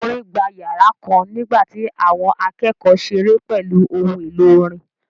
Orin gba yàrá kan nígbà tí àwọn akẹ́kọ̀ọ́ ṣeré pẹ̀lú ohun èlò orin